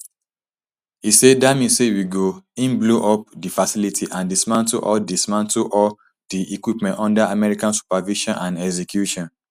im say dat mean say we go in blow up di facilities and dismantle all dismantle all di equipment under american supervision and execution